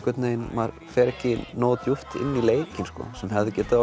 maður fer ekki nógu djúpt inn í leikinn sem hefði getað